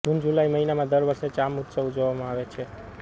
જૂનજુલાઇ મહિનામાં દર વર્ષે ચામ ઉત્સવ ઉજવવામાં આવે છે